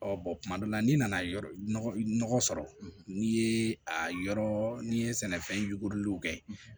Ɔ kuma dɔw la n'i nana nɔgɔ sɔrɔ n'i ye a yɔrɔ n'i ye sɛnɛfɛn yuguri kɛ